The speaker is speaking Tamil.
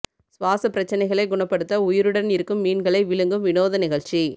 சுவாச பிரச்சனைகளை குணப்படுத்த உயிருடன் இருக்கும் மீன்களை விழுங்கும் வினோத நிகழ்ச்சி